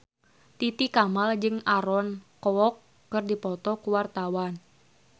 Titi Kamal jeung Aaron Kwok keur dipoto ku wartawan